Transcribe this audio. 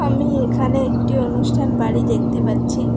আমি এখানে একটি অনুষ্ঠান বাড়ি দেখতে পাচ্ছি।